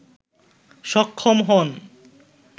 সক্ষম হন